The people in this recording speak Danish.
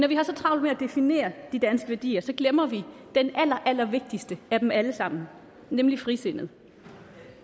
vi har så travlt med at definere de danske værdier glemmer vi den allerallervigtigste af dem alle sammen nemlig frisindet